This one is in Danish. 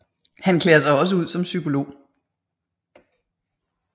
Han klæder sig også ud som psykolog